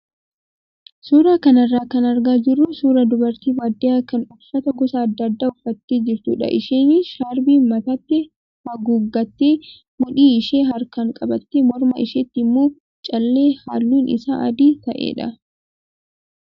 Suuraa kanarraa kan argaa jirru suuraa dubartii baadiyyaa kan uffata gosa adda addaa uffattee jirtudha . Isheenis shaarbii mataatti haguuggattee, mudhii ishee harkaan qabattee morma isheetti immoo callee halluun isaa adii ta'edha.